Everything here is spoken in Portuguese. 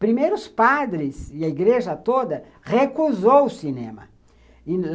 Primeiro os padres e a igreja toda recusou o cinema.